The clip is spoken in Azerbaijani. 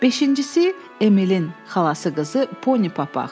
Beşincisi, Emilin xalası qızı, Poni Papax.